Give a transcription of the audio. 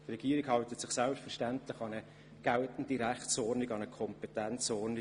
Die Regierung hält sich selbstverständlich an die geltende Rechtsordnung und an ihre Kompetenzen.